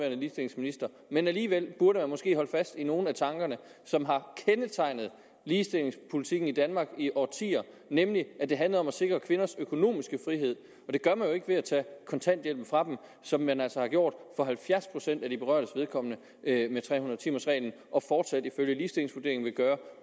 ligestillingsminister men alligevel burde man måske holde fast i nogle af tankerne som har kendetegnet ligestillingspolitikken i danmark i årtier nemlig at det handler om at sikre kvinders økonomiske frihed det gør man jo ikke ved at tage kontanthjælpen fra dem som man altså har gjort for halvfjerds procent af de berørtes vedkommende med tre hundrede timers reglen og fortsat ifølge ligestillingsvurderingen vil gøre